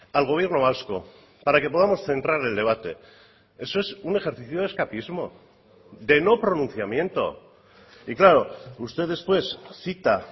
al gobierno vasco para que podamos centrar el debate eso es un ejercicio de escapismo de no pronunciamiento y claro usted después cita